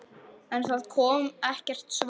En það kom ekkert svar.